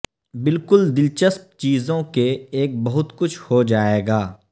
بالکل دلچسپ چیزوں کے ایک بہت کچھ ہو جائے گا